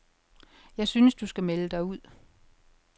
Jeg synes du skal melde dig ud.